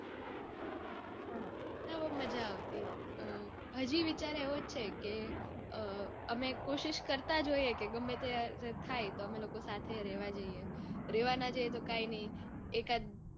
હા તો માજા આવતી. હજી વિચાર એવો જ છે કે અઅ અમે કોશિશ કરતા જ હોઈએ કે ગમે તે થાય તો અમે સાથે રેવા જઇયે. રેવા ના જઇયે તો કાંઈ નઈ એકાદ